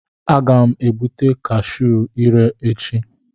Aga m ga-egbute cashu ire echi.